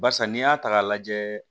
Barisa n'i y'a ta k'a lajɛ